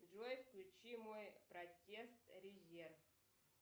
джой включи мой протест резерв